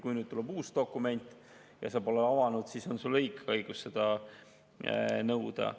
Kui tuleb uus dokument ja sa pole seda avanud, siis on sul õigus seda paberil nõuda.